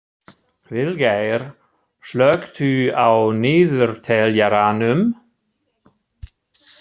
Vilgeir, slökktu á niðurteljaranum.